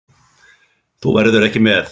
Þú verður ekki með.